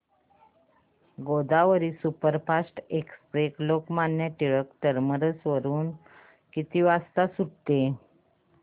Godavari superfast express Lokmanya Tilak terminus वरून किती वाजता सुटते